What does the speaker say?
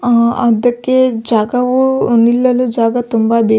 ಆ ಅದುಕ್ಕೆ ಜಗವು ನಿಲ್ಲಲು ಜಾಗ ತುಂಬ ಬೇಕು.